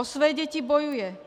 O své děti bojuje.